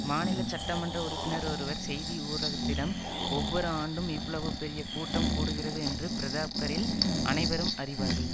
மாநில சட்டமன்ற உறுப்பினர் ஒருவர் செய்தி ஊடகத்திடம் ஒவ்வொரு ஆண்டும் இவ்வளவு பெரிய கூட்டம் கூடுகிறது என்று பிரதாப்கரில் அனைவரும் அறிவார்கள்